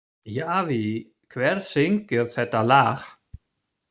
Javí, hver syngur þetta lag?